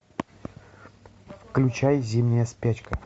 включай зимняя спячка